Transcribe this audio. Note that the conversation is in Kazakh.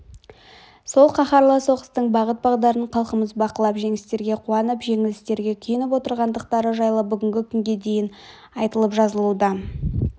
сол қаһарлы соғыстың бағыт-бағдарын халқымыз бақылап жеңістерге қуанып жеңілістерге күйініп отырғандықтары жайлы бүгінгі күнге дейін айтылып жазылуда